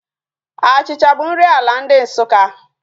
Achịcha bụ nri ala ndị Nsukka